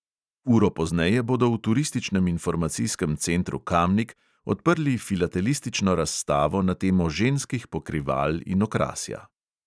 Uro pozneje bodo v turističnem informacijskem centru kamnik odprli filatelistično razstavo na temo ženskih pokrival in okrasja.